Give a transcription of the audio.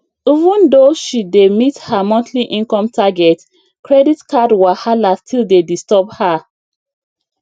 even though she dey meet her monthly income target credit card wahala still dey disturb her